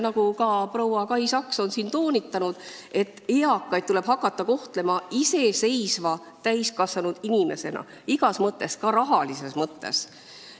Nagu ka proua Kai Saks siin toonitas, eakat tuleb hakata kohtlema iseseisva täiskasvanud inimesena, igas mõttes, ka rahalises mõttes.